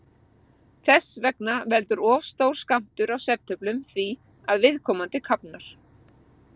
Þess vegna veldur of stór skammtur af svefntöflum því að viðkomandi kafnar.